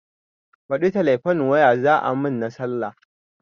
Baɗi telefon waya za a mun na sallah